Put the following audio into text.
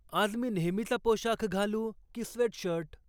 आज मी नेहमीचा पोशाख घालू की स्वेट शर्ट?